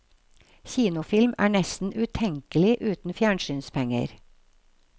Kinofilm er nesten utenkelig uten fjernsynspenger.